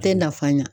Tɛ nafa ɲɛ